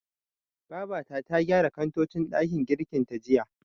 Babata ta gyara kantocin ɗakin girkin ta jiya.